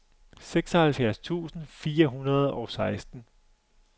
seksoghalvfjerds tusind fire hundrede og seksten